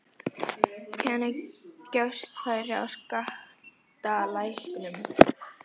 Hvenær gefst færi á skattalækkunum?